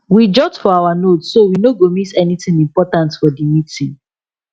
we jot for our notes so we no go miss anything important for the meeting